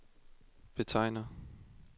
betegner